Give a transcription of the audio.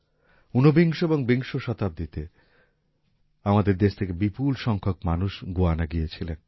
উনবিংশ এবং বিংশ শতাব্দীতে আমাদের দেশ থেকে বিপুল সংখ্যক মানুষ গুয়ানা গিয়েছিলেন